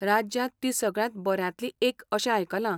राज्यांत ती सगळ्यांत बऱ्यांतली एक अशें आयकलां?